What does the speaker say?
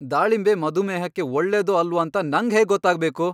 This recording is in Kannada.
ದಾಳಿಂಬೆ ಮಧುಮೇಹಕ್ಕೆ ಒಳ್ಳೇದೋ ಅಲ್ವೋ ಅಂತ ನಂಗ್ ಹೇಗ್ ಗೊತ್ತಾಗ್ಬೇಕು?!